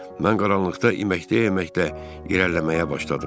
Mən qaranlıqda iməkləyə-iməkləyə irəliləməyə başladım.